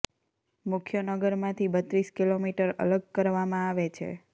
મુખ્ય નગર માંથી બત્રીસ કિલોમીટર અલગ કરવામાં આવે છે